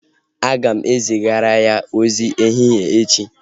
Éè, aga m zigara ya ozi ehihie echi